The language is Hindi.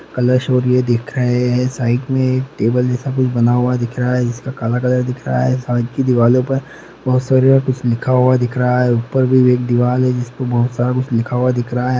कॉलोअर्स और ये देख रहे है साइड में एक टेबल जैसा कुछ बना हुआ दिख रहा है। जिसका काला कलर दिख रहा है। साइड की दीवालो पर बहुत सारा यंहा कुछ लिखा हुआ दिख रहा है। ऊपर भी एक दीवाल है जिसपे बहुत सारा कुछ लिखा हुआ दिख रहा है।